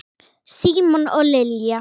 Símon og Lilja.